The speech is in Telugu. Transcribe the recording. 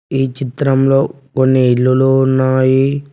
ఈ చిత్రంలో కొన్ని ఇల్లులు ఉన్నాయి.